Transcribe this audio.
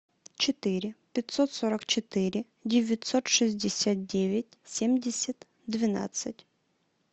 четыре пятьсот сорок четыре девятьсот шестьдесят девять семьдесят двенадцать